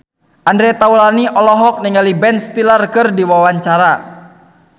Andre Taulany olohok ningali Ben Stiller keur diwawancara